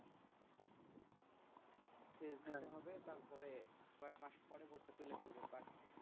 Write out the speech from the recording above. দিতে হবে তারপরে কয় মাস পরে ভুট্টা তুলে ফেলবে